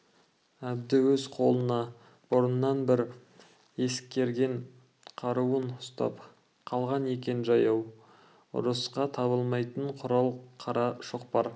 әбді өз қолына бұрыннан бір ескерген қаруын ұстап қалған екен жаяу ұрысқа табылмайтын құрал қара шоқпар